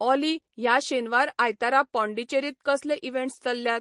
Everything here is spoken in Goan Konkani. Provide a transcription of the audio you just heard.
ऑली ह्या शेनवार आयतारा पाँडीचेरींत कसले इवँट्स चल्ल्यात?